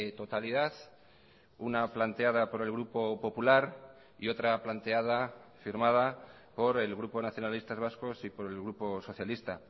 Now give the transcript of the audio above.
totalidad una planteada por el grupo popular y otra planteada firmada por el grupo nacionalistas vascos y por el grupo socialista